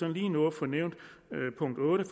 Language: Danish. lige nå at få nævnt punkt otte